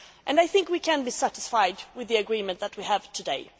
I think we can be satisfied with the agreement that we have today.